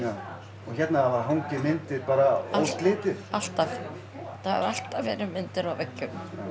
og hérna hafa hangið myndir óslitið alltaf það hafa alltaf verið myndir á veggjum